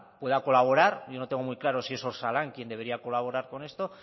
yo no tengo muy claro si es osalan quien debería colaborar con esto